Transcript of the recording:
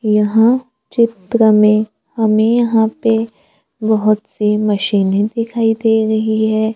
यहां चित्र में हमें यहां पे बहोत सी मशीनें दिखाई दे रही है।